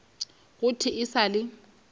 go thwe e sa le